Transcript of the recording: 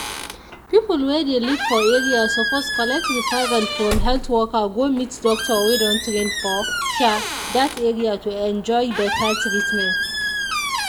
people wey dey live for area suppose collect referral from health worker go meet doctor wey don train for sha that area to enjoy better treatment.